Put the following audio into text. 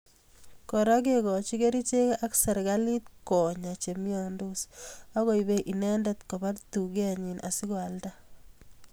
Kora kekoch kerichek ak serkalit konya chemiandos agoibei inendet Koba dukenyi asikoalda